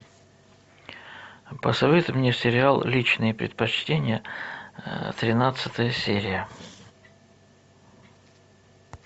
посоветуй мне сериал личные предпочтения тринадцатая серия